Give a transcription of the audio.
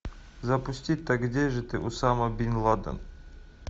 запусти так где же ты усама бин ладен